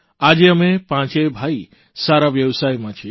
આજે અમે પાંચેય ભાઇ સારા વ્યવસાયમાં છીએ